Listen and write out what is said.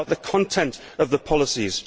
It is about the content of the policies.